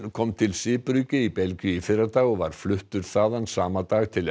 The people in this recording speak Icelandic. kom til Zeebrugge í Belgíu í fyrradag og var fluttur þaðan sama dag til